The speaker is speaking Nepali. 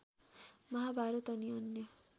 महाभारत अनि अन्य